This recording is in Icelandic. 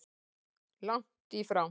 Langt í frá!